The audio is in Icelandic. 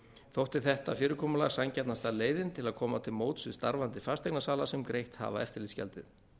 þótti þetta fyrirkomulag sanngjarnasta leiðin til að koma til móts við starfandi fasteignasala sem greitt hafa eftirlitsgjaldið